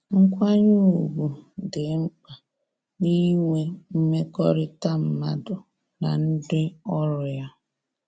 Nkwanye ugwu dị mkpa na inwe mmekọrịta mmadụ na ndị ọrụ ya